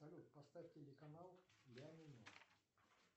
салют поставь телеканал ля минор